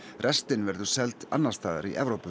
restin verður seld annars staðar í Evrópu